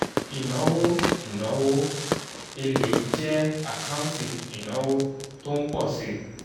ìnáwó ìnáwó èlé jẹ́ àkáǹtì ìnáwó tó ń pọ̀ si